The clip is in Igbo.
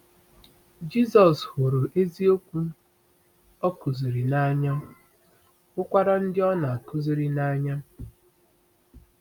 Jisọs hụrụ eziokwu o kụziri n’anya, hụkwara ndị ọ na-akụziri n’anya.